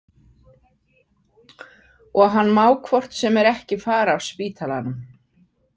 Og hann má hvort sem er ekki fara af spítalanum.